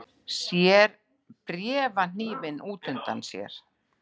Sér bréfahnífinn út undan sér.